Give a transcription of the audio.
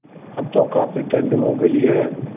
अब तो काफ़ी ठण्ड हो गयी है